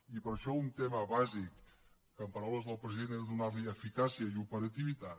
i per això un tema bàsic que en paraules del president era donar li eficàcia i operativitat